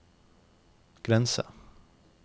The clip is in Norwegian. grense